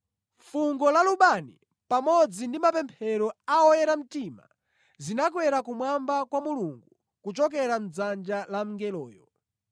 Fungo la lubani pamodzi ndi mapemphero a oyera mtima zinakwera kumwamba kwa Mulungu kuchokera mʼdzanja la mngeloyo.